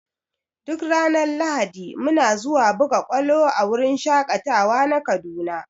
Duk ranar lahadi muna zuwa buga ƙwalo a wurin shaƙatawa na kaduna.